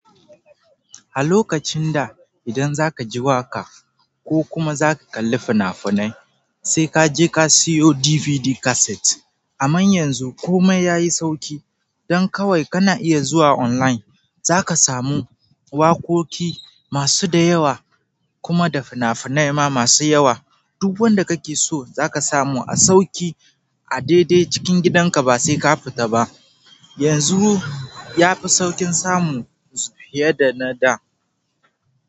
A lokacin da idan zaka ji waƙa ko kuma za ka kalli fina-finai, sai ka je ka siyo DVD cassette. Amma yanzu komai yayi sauki. Don kawai kana iya zuwa online za ka samu waƙoƙi masu da yawa kuma da fina-finai ma masu yawa. Duk wanda kake so za ka samu a sauki a daidai cikin gidanka ba sai ka fita ba. Yanzu yafi sauƙin samu fiye da na da.